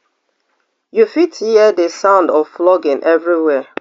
you fit hear di sound of flogging everywhere